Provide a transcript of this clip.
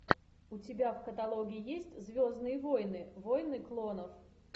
у тебя в каталоге есть звездные войны войны клонов